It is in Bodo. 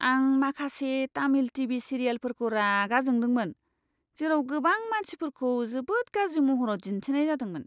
आं माखासे तामिल टीवी सिरियेलफोरखौ रागा जादोंमोन, जेराव गोबां मानसिफोरखौ जोबोद गाज्रि महराव दिन्थिनाय जादोंमोन।